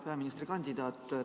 Hea peaministrikandidaat!